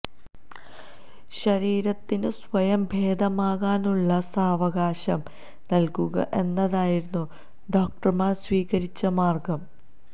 ശരീരത്തിന് സ്വയം ഭേദമാക്കാനുള്ള സാവകാശം നല്കുക എന്നതായിരുന്നു ഡോക്ടര്മാര് സ്വീകരിച്ച മാര്ഗം